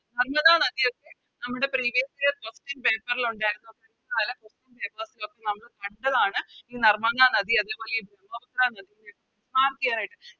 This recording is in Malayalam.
നർമ്മദ നദിയൊക്കെ നമ്മുടെ Previous year question paper ൽ ഒണ്ടാരുന്നു മുൻ കാല Question papers ലോക്കെ നമ്മള് കണ്ടതാണ് ഈ നർമ്മദ നദി അതേപോലെ ഈ നദി Mark ചെയ്യാനായിട്ട്